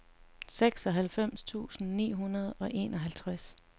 seksoghalvfems tusind ni hundrede og enoghalvtreds